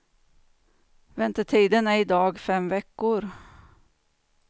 Väntetiden är i dag fem veckor.